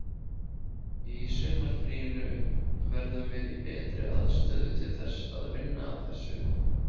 Í sumarfríinu verðum við í betri aðstöðu til þess að vinna að þessu.